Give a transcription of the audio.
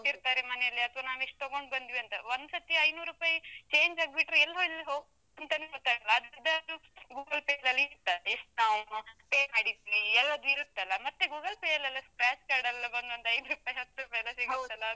ಎಷ್ಟು ಕೊಟ್ಟಿರ್ತಾರೆ ಮನೆಯಲ್ಲಿ, ಅಥವಾ ನಾವೆಷ್ಟು ತಗೊಂಡು ಬಂದ್ವಿ ಅಂತ, ಒಂದ್ಸರ್ತಿ ಐನೂರುಪೈ change ಆಗ್ಬಿಟ್ರೆ ಎಲ್ಲೆಲ್ಲಿ ಹೋಗ್ತದಂತವೆ ಗೊತ್ತಾಗಲ್ಲ, ಮತ್ತೆ ಅದು Google Pay ನಲ್ಲಾದ್ರೆ ಇರ್ತದೆ, ನಾವು pay ಮಾಡಿದ್ವಿ ಎಲ್ಲದು ಇರುತ್ತಲ್ಲ, ಮತ್ತೆ Google Pay ಯಲ್ಲೆಲ್ಲಾ scratch card ಎಲ್ಲ ಬಂದು ಒಂದು ಐದುರುಪೈ ಹತ್ರುಪೈ ಎಲ್ಲ.